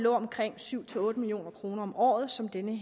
omkring syv otte million kroner om året som denne